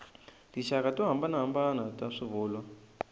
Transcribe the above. tinxaka to hambanahambana ta swivulwa